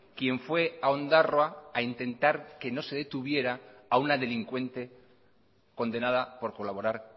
quien fue a ondarroa a intentar que no se detuviera a una delincuente condenada por colaborar